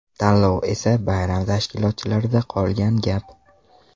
Tanlov esa bayram tashkilotchilarida qolgan gap.